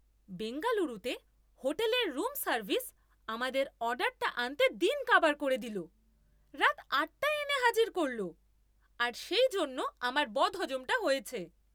বেঙ্গালুরুতে হোটেলের room service আমাদের অর্ডারটা আনতে দিন কাবার করে দিল, রাত আটটায় এনে হাজির করল আর সেই জন্য আমার বদহজমটা হয়েছে!